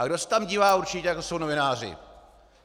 A kdo se tam dívá určitě, to jsou novináři.